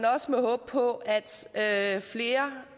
også håbe på at at flere